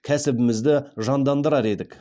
кәсібімізді жандандырар едік